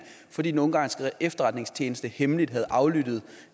fordi den ungarske efterretningstjeneste hemmeligt havde aflyttet